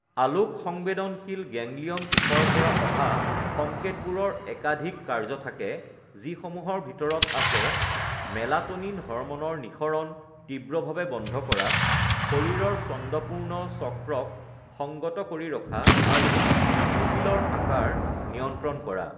আলোকসংবেদনশীল ganglion কোষৰ পৰা অহা সংকেতবোৰৰ একাধিক কাৰ্য থাকে যিসমূহৰ ভিতৰত আছে মেলাট’নিন হৰম’নৰ নিঃসৰণ তীব্ৰভাৱে বন্ধ কৰা, শৰীৰৰ ছন্দঃপূৰ্ণ চক্ৰক সংগত কৰি ৰখা আৰু পিউপিলৰ আকাৰ নিয়ন্ত্ৰণ কৰা।